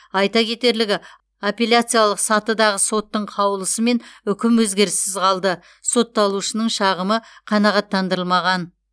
айта кетерлігі апелляциялық сатыдағы соттың қаулысымен үкім өзгеріссіз қалды сотталушының шағымы қанағаттандырылмаған